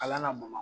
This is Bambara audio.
Kalan na bamakɔ